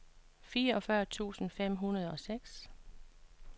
fireogfyrre tusind fem hundrede og seks